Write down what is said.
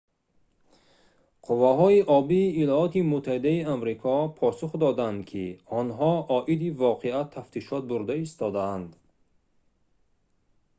қувваҳои обии има посух доданд ки онҳо оиди воқеа тафтишот бурда истодаанд